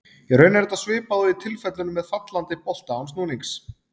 Í raun er þetta svipað og í tilfellinu með fallandi bolta án snúnings.